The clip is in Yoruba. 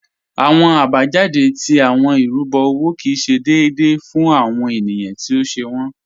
Awọn abajáde tí awọn irúbo owó kí ì ṣé déèdé fún awọn ènìyàn tí ó ṣè wọn.